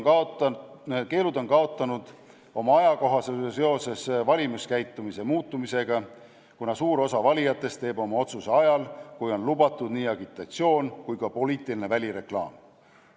Keelud on kaotanud oma ajakohasuse seoses valimiskäitumise muutumisega, kuna suur osa valijatest teeb oma otsuse ajal, kui on lubatud nii agitatsioon kui ka poliitiline välireklaam.